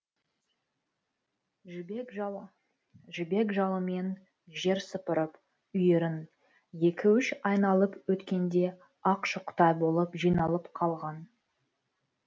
жібек жалымен жер сыпырып үйірін екі үш айналып өткенде ақ шоқтай болып жиналып қалған